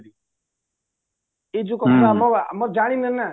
ଏଇ ଯୋଉ କଥା ଆମ ଆମେ ଜାଣିନେନା